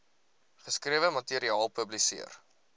geskrewe materiaal publiseer